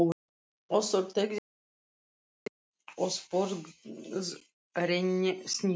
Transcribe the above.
Össur teygði sig í annað glas og sporðrenndi snittu.